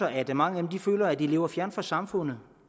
at mange af dem føler at de lever fjernt fra samfundet